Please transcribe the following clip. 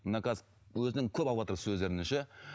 мына қазір бұл өзіне көп алыватыр сөздеріне ше